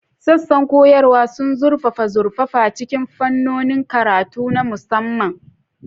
Sassan koyarwa sun zurfafa zurfafa cikin fannonin karatu na musamman.